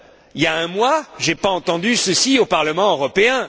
Il y a un mois, je n'ai pas entendu ceci au Parlement européen.